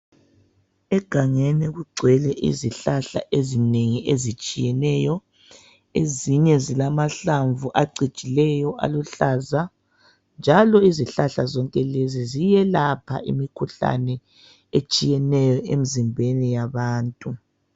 Egangeni kugcwele izihlahla ezinengi ezitshiyeneyo ezinye zilamahlamvu acijileyo aluhlaza njalo izihlahla zonke lezi ziyelapha imikhuhlane etshiyeneyo emizimbeni yabantu.